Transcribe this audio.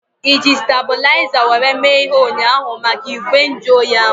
Iji stebulaiza were mee ihe ụnyaahụ maka igwe nju oyi ahu?